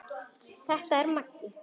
Þetta er Maggi!